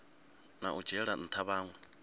na u dzhiela ntha vhanwe